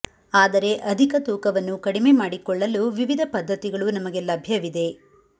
ಆದರೆ ಅಧಿಕ ತೂಕವನ್ನು ಕಡಿಮೆ ಮಾಡಿಕೊಳ್ಳಲು ವಿವಿಧ ಪದ್ಧತಿಗಳು ನಮಗೆ ಲಭ್ಯವಿದೆ